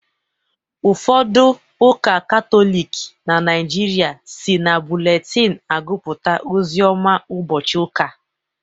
Ụfodu ụka katọlịk na naijịrịa si na bụletin agupụta ozioma ubochi ụka